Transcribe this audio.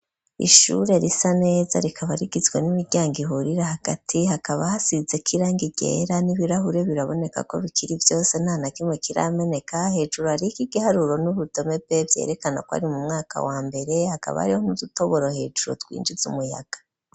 Ishure risa neza, rikaba rigizwe n'imiryango ihurire hagati ,hakaba hasize kirangi ryera, n'ibirahure biraboneka ko bikiri vyose, ntana kimwe kirameneka ,hejuru ariki igiharuro n'urudome be vyerekana ko ari mu mwaka wa mbere, hakaba ariho nk'udutoboro hejuru twinjiz' umuyaga.